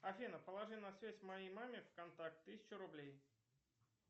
афина положи на связь моей маме в контакт тысячу рублей